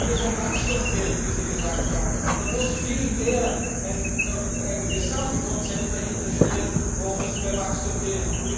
Wenn es um Wachstum geht, wie Sie gesagt haben, dann muss vielmehr ein Gesamtkonzept dahinterstehen, worum es bei Wachstum geht.